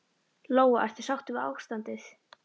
Lóa: Ertu sáttur við ástandið?